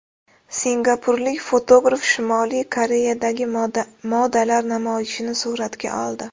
Singapurlik fotograf Shimoliy Koreyadagi modalar namoyishini suratga oldi.